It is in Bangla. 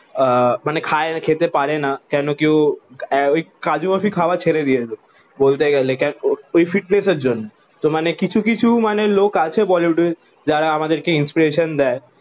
আহ মানে খেয়ে না খেতে পারে না কেন কি ও কাজু বরফি খাওয়া ছেড়ে দিয়েছে ওই ফিটনেসের জন্য তো মানে কিছু কিছু লোক আছে বলিউডে যারা আমাদের কে ইনস্পিরেশন দায়ে